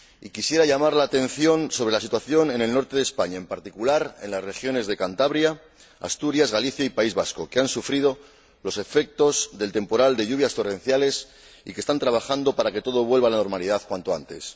Quisiera llamar la atención sobre la situación en el norte de España, en particular en las regiones de Cantabria, Asturias, Galicia y País Vasco, que han sufrido los efectos del temporal de lluvias torrenciales y que están trabajando para que todo vuelva a la normalidad cuanto antes.